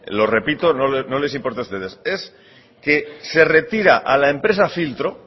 lo repito no les importe a ustedes es que se retira a la empresa filtro